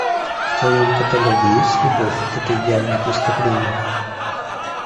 в твоем каталоге есть любовь это идеальное преступление